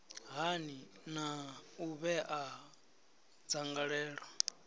hani na u vhea dzangalelo